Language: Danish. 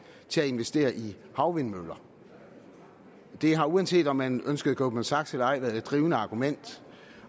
til at investere i havvindmøller det har uanset om man ønskede goldman sachs eller ej været det drivende argument